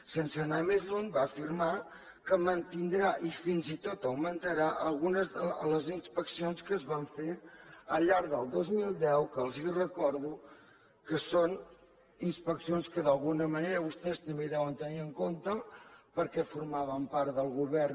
sense anar més lluny va afirmar que mantindrà i fins i tot augmentarà les inspeccions que es van fer al llarg del dos mil deu que els recordo que són inspeccions que d’alguna manera vostès també deuen tenir en compte perquè formaven part del govern